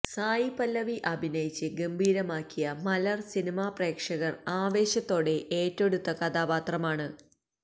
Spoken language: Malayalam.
സായി പല്ലവി അഭിനയിച്ച് ഗംഭീരമാക്കിയ മലർ സിനിമാപ്രേക്ഷകർ ആവേശത്തോടെ ഏറ്റെടുത്ത കഥാപാത്രമാണ്